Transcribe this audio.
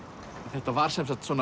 þetta var